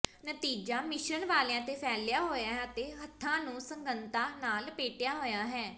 ਨਤੀਜਾ ਮਿਸ਼ਰਣ ਵਾਲਾਂ ਤੇ ਫੈਲਿਆ ਹੋਇਆ ਹੈ ਅਤੇ ਹੱਥਾਂ ਨੂੰ ਸੰਘਣਤਾ ਨਾਲ ਲਪੇਟਿਆ ਹੋਇਆ ਹੈ